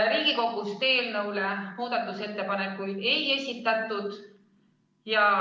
Riigikogus eelnõu kohta muudatusettepanekuid ei esitatud.